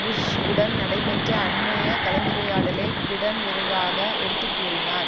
push உடன் நடைபெற்ற அண்மைய கலந்துரையாடலை பிடன் விரிவாக எடுத்து கூறினார்